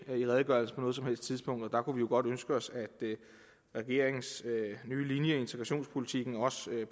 i redegørelsen på noget som helst tidspunkt og der kunne vi jo godt ønske os at regeringens nye linje i integrationspolitikken også